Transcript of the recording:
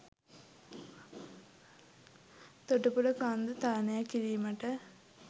තොටුපොල කන්ද තරණය කිරීමට